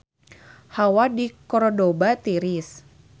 Hawa di Kordoba tiris